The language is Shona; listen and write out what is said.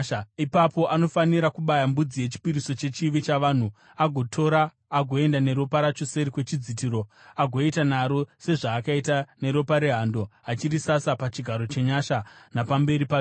“Ipapo anofanira kubaya mbudzi yechipiriso chechivi chavanhu agotora agoenda neropa racho seri kwechidzitiro agoita naro sezvaakaita neropa rehando. Acharisasa pachigaro chenyasha napamberi pacho.